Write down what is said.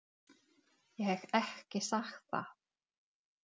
Ég hef ekki sagt það!